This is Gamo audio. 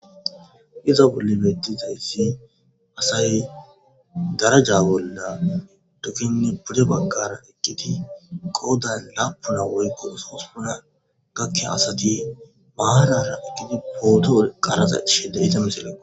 iza bolle medizayssi asay daraja wolla tukinne bude baggara eqqiti goodan laapuna woykko sospuna gakke asati maharara egiti pooto qarasa ishede ita miselle